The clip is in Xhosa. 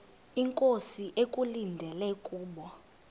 inkosi ekulindele kubo